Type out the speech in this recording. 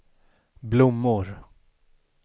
blommor